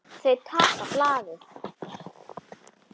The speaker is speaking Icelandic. Þau taka blaðið.